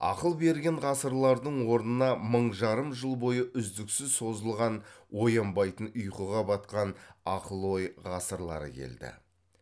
ақыл берген ғасырлардың орнына мың жарым жыл бойы үздіксіз созылған оянбайтын ұйқыға батқан ақыл ой ғасырлары келді